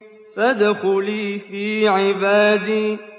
فَادْخُلِي فِي عِبَادِي